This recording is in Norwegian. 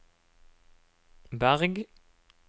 Berg